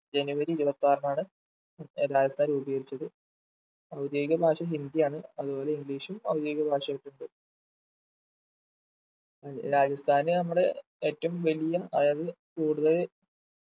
ജനുവരി ഇരുപത്താറിനാണ് രാജസ്ഥാൻ രൂപീകരിച്ചത് ഔദ്യോഗിക ഭാഷ ഹിന്ദിയാണ് അതുപോലെ english ഉം ഔദ്യോഗിക ഭാഷയായിട്ട്ണ്ട് രാജസ്ഥാനി നമ്മള് ഏറ്റവും വലിയ അതായത് കൂടുതല്